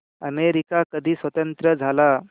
America कधी स्वतंत्र झाला